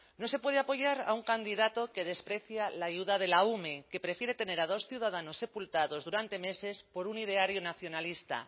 no se puede apoyar a un candidato que desprecia la ayuda de la ume que prefiere tener a dos ciudadanos sepultados durante meses por un ideario nacionalista